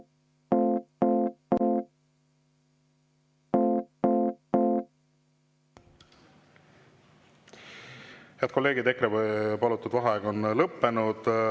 Head kolleegid, EKRE palutud vaheaeg on lõppenud.